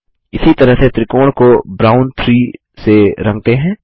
इसी तरह से त्रिकोण को ब्राउन 3 से रंगते हैं